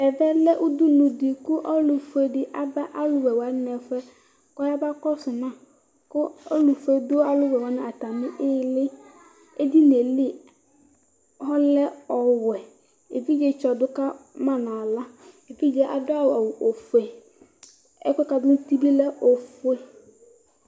Ɛvɛlɛ ʋdʋnʋ di kʋ ɔlʋfue di aba alʋwɛ wani ɛfʋɛ kʋ ayaba kɔsʋ ma kʋ ɔlʋfue dʋ alʋwɛ wani ayili edinili lɛ ɔwɛ evidzetsɔ dʋ kama nʋ aɣla evidze adʋ awʋ ofʋe ɛkʋɛ kʋ adʋ bilɛ ofue